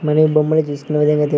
మనం ఈ బొమ్మలు చూసుకున విధంగా ఐతే--